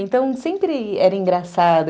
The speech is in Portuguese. Então, sempre era engraçado.